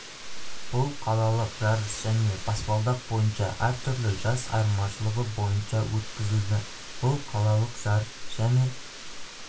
бұл қалалық жарыс және баспалдақ бойынша әр түрлі жас айырмашылығы бойынша өткізілді бұл қалалық жарыс және